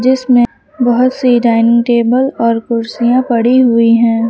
इसमें बहुत सी डाइनिंग टेबल और कुर्सियां पड़ी हुई हैं।